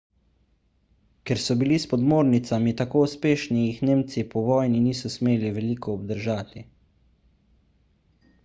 ker so bili s podmornicami tako uspešni jih nemci po vojni niso smeli veliko obdržati